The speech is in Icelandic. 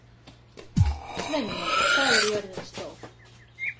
Sveinjón, hvað er jörðin stór?